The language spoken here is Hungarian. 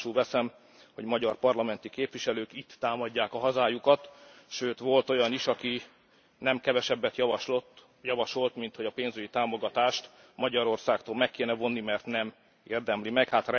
Tudomásul veszem, hogy magyar parlamenti képviselők itt támadják a hazájukat, sőt, volt olyan is, aki nem kevesebbet javasolt, minthogy a pénzügyi támogatást Magyarországtól meg kéne vonni, mert nem érdemli meg.